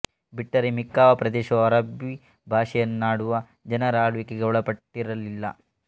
ಬಿಟ್ಟರೆ ಮಿಕ್ಕಾವ ಪ್ರದೇಶವೂ ಅರಬ್ಬೀ ಭಾಷೆಯನ್ನಾಡುವ ಜನರ ಆಳ್ವಿಕೆಗೆ ಒಳಪಟ್ಟಿರಲಿಲ್ಲ